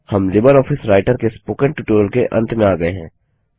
हम LibreOffice Writer के spoken tutorial के अंत में आ गए हैं